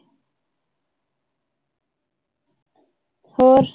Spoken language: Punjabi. ਹੋਰ